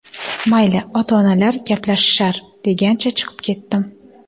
Mayli, ota-onalar gaplashishar degancha chiqib ketdim.